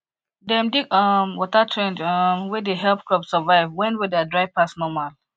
dem dig um water trench um wey dey help crop survive when weather dry pass normal